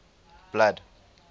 blood